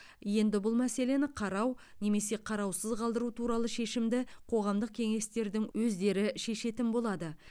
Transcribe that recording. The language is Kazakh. енді бұл мәселені қарау немесе қараусыз қалдыру туралы шешімді қоғамдық кеңестердің өздері шешетін болады